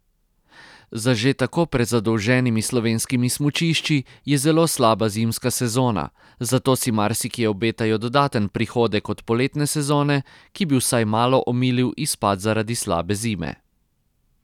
Za že tako prezadolženimi slovenskimi smučišči je zelo slaba zimska sezona, zato si marsikje obetajo dodaten prihodek od poletne sezone, ki bi vsaj malo omilil izpad zaradi slabe zime.